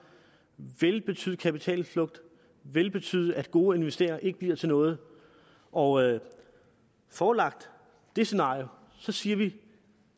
vil betyde kapitalflugt vil betyde at gode investeringer ikke bliver til noget og forelagt det scenarie siger vi